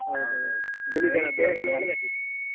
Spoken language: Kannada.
ಹೌದೌದು ಗುಳಿಗನದ್ದು .